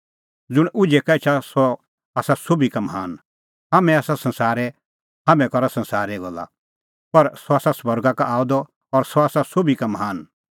ज़ुंण उझै का एछा सह आसा सोभी का महान हाम्हैं आसा संसारे हाम्हैं करा संसारे गल्ला पर सह आसा स्वर्गा का आअ द और सह आसा सोभी का महान